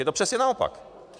Je to přesně naopak.